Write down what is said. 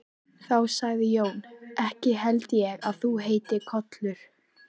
Þá sagði Jón: Ekki held ég að þú heitir Kollur.